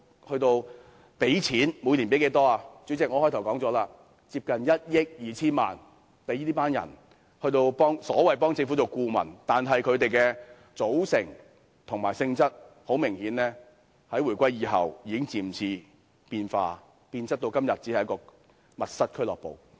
主席，我在我的開場白提到，花費接近1億 2,000 萬元聘請這些人擔任所謂政府顧問，但很明顯，他們的組成及性質在回歸後已逐漸變質，到今天只變為一個"密室俱樂部"。